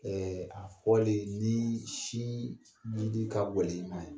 a fɔlen nii si lili ka gwɛlɛ i ma yan